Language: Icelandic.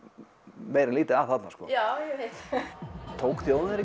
meira en lítið að þarna tók þjóðin